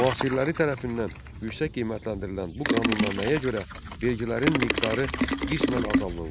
Müasirləri tərəfindən yüksək qiymətləndirilən bu qanunnaməyə görə vergilərin miqdarı qismən azaldıldı.